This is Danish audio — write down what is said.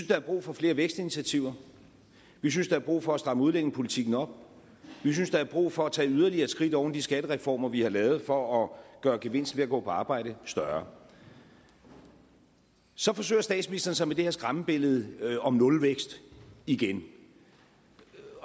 der er brug for flere vækstinitiativer vi synes der er brug for at stramme udlændingepolitikken op vi synes der er brug for at tage yderligere skridt oven i de skattereformer vi har lavet for at gøre gevinsten ved at gå på arbejde større så forsøger statsministeren sig med det her skræmmebillede om nulvækst igen